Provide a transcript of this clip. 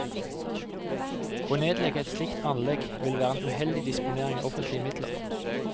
Å nedlegge et slikt anlegg ville være en uheldig disponering av offentlige midler.